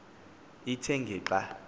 ithe ngeli xa